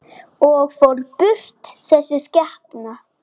Hann er vinur Sigga bróður.